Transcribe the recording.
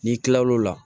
N'i kilal'o la